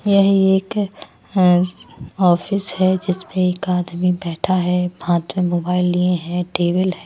यह एक ऑफिस है जिसमें एक आदमी बैठा है हाथ में मोबाइल लिए हैं टेबल है।